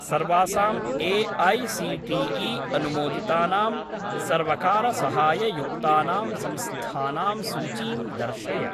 सर्वासां ए.ऐ.सी.टी.ई. अनुमोदितानां सर्वकारसहाययुक्तानां संस्थानां सूचीं दर्शय।